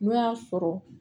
N'o y'a sɔrɔ